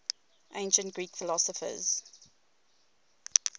ancient greek philosophers